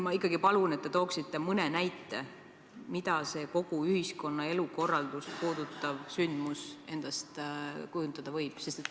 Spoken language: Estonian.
Ma ikkagi palun, et te tooksite mõne näite, mida see kogu ühiskonna elukorraldust puudutav sündmus endast kujutada võib.